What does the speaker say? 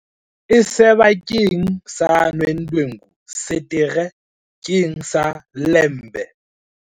e seba keng sa Nodwengu, Setere keng sa Ilembe